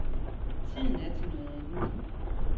Tiden er til noget andet.